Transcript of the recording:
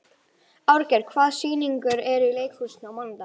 Árgeir, hvaða sýningar eru í leikhúsinu á mánudaginn?